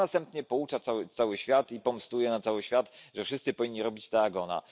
A następnie poucza cały świat i pomstuje na cały świat, że wszyscy powinni robić tak, jak ona.